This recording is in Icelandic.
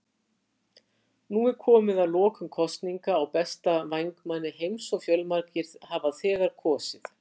Nú er komið að lokum kosninga á besta vængmanni heims og fjölmargir hafa þegar kosið.